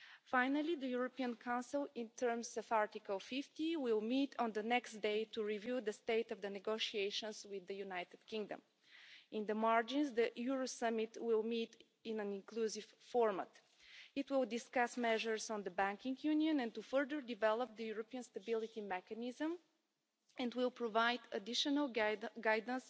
Finally, the European Council, in terms of Article 50, will meet on the next day to review the state of the negotiations with the United Kingdom. In the margins, the Euro Summit will meet in an inclusive format. It will discuss measures on the Banking Union and to further develop the European Stability Mechanism, and will provide additional guidance on the way forward.